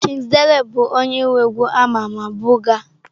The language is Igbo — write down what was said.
Kizz Daniel bụ onye nwe egwu a ma ama 'buga'.